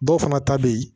Dɔw fana ta bɛ yen